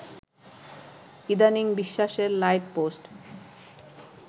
ইদানিং বিশ্বাসের লাইটপোস্ট